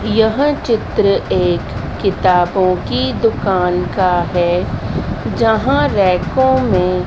यह चित्र एक किताबों की दुकान का है जहां रैकों में--